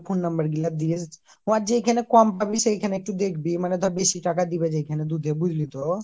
phone number গুলা দিস আর যেইখানে কম পাবি সেইখানে একটু দেখবি মানে ধর বেশি টাকা দিবে যেইখানে দুধে বুঝলি তো